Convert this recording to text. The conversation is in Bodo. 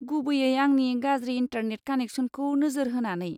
गुबैयै आंनि गाज्रि इन्टारनेट कानेक्सनखौ नोजोर होनानै।